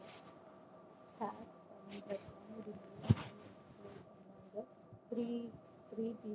college நல்லா three three G